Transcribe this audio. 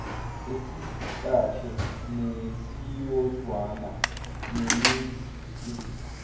esikahle nesiyozwana neningi